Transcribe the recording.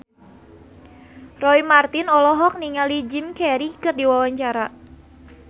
Roy Marten olohok ningali Jim Carey keur diwawancara